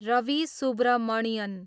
Ravi Subramanian